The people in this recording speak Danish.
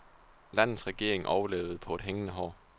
Landets regering overlevede på et hængende hår.